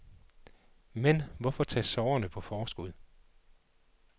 Men, hvorfor tage sorgerne på forskud.